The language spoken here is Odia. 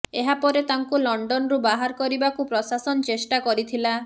ଏହାପରେ ତାଙ୍କୁ ଲଣ୍ଡନରୁ ବାହାର କରିବାକୁ ପ୍ରସାଶନ ଚେଷ୍ଟା କରିଥିଲା